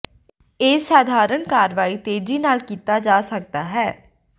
ਇਹ ਸਧਾਰਨ ਕਾਰਵਾਈ ਤੇਜ਼ੀ ਨਾਲ ਕੀਤਾ ਜਾ ਸਕਦਾ ਹੈ